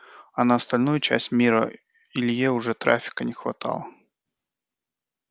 а на остальную часть мира илье уже трафика не хватало